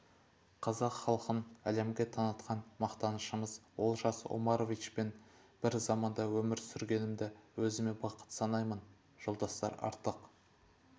қазақ халқын әлемге танытқан мақтанышымыз олжас омаровичпен бір заманда өмір сүргенімді өзіме бақыт санаймын жолдастар артық